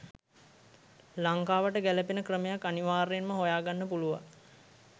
ලංකාවට ගැලපෙන ක්‍රමයක් අනිවාර්යෙන්ම හොයා ගන්න පුළුවන්